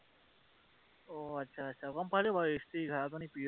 অ আচ্ছা আচ্ছা, গম পালো বাৰু, স্ত্ৰী এঘাৰ জনী প্ৰিয়